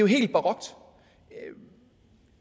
helt barokt